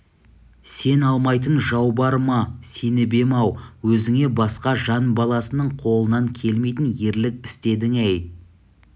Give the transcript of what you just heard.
сен алмайтын жау бар ма сеніп ем-ау өзіңе басқа жан баласынын қолынан келмейтін ерлік істедің әй